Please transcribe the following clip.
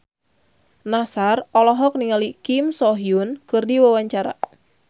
Nassar olohok ningali Kim So Hyun keur diwawancara